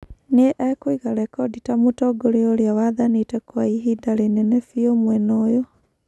Nĩ-ekũiga rekodi ta Mũtongoria uria wathanĩte kwa ihinda rĩnene bĩu mwena uyu.